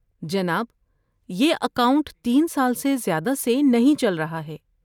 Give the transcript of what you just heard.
جناب، یہ اکاؤنٹ تین سال سے زیادہ سے نہیں چل رہا ہے۔